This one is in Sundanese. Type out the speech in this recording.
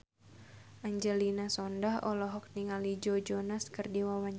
Angelina Sondakh olohok ningali Joe Jonas keur diwawancara